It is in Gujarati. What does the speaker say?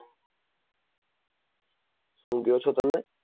શું કહ્યો છો તમે?